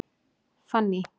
Fanný